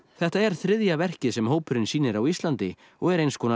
þetta er þriðja verkið sem hópurinn sýnir á Íslandi og er einskonar